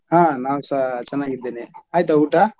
ಹಾ ನಾನ್ಸ ಚೆನ್ನಾಗಿದ್ದೇನೆ ಆಯ್ತಾ ಊಟ.